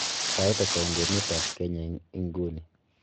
sai ata en emet ab kenya en inguni